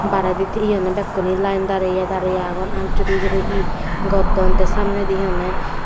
baredit eonne bakkune line dariye dariye awgon aat juri juri he gotton te samnedi he henne.